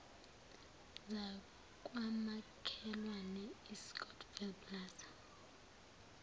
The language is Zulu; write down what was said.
zakwamakhelwane iscottsvile plaza